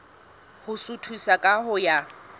ho suthisa ka ho ya